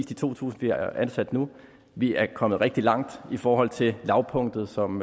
de to tusind vi har ansat nu vi er kommet rigtig langt i forhold til lavpunktet som